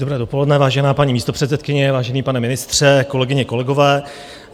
Dobré dopoledne, vážená paní místopředsedkyně, vážený pane ministře, kolegyně, kolegové.